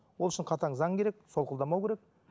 ол үшін қатаң заң керек солқылдамау керек